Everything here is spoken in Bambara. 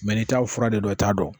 Mɛ n'i t'a fura de dɔn i t'a dɔn